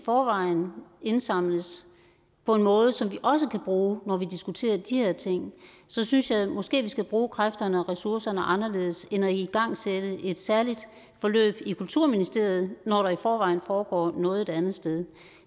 forvejen indsamles på en måde så vi også kan bruge når vi diskuterer de her ting så synes jeg at vi måske skal bruge kræfterne og ressourcerne anderledes end på at igangsætte et særligt forløb i kulturministeriet når der altså i forvejen foregår noget et andet sted